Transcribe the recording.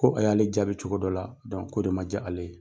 Ko a y'ale jaabi cogo dɔ la ko de ma ja ale ye.